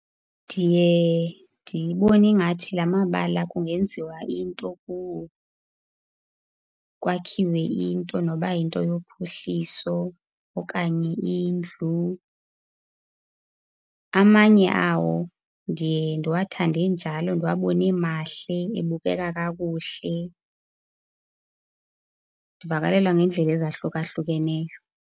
Ndiye ndibone ingathi la mabala kungenziwa into kuwo, kwakhiwe into nokuba yinto yophuhliso okanye indlu. Amanye awo ndiye ndiwathande enjalo, ndiwabone emahle, ebukeka kakuhle. Ndivakalelwa ngeendlela ezahlukahlukeneyo.